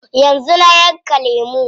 Yanzu na yanka lemu.